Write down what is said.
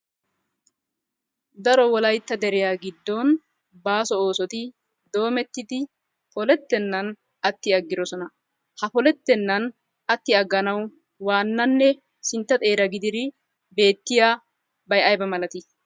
Daro wolaytta deriya giddon baaso oosoti doometti polettenaan atti agiddosona. Ha polettennan atti aganawu waannanne sintta xeera gididi beetiyabay ayba malati?